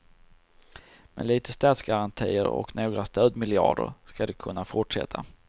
Med litet statsgarantier och några stödmiljarder ska det kunna fortsätta.